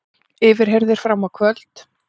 Yfirheyrðir fram á kvöld